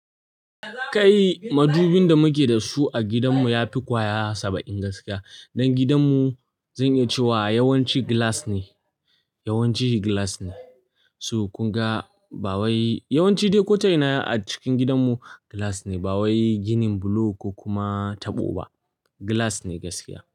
Kai madubin da muke da su a gidanmu yafi kwaya saba'in gaskiya. Dan gidanmu zan iya cewa yawanci gilas ne, yawanci gilas ne. So kunga, ba wai yawanci dai ko ta ina a cikin gidan mu, glass ne. Ba wai ginin bulo ko kuma taɓo ba, gilas ne gaskiya.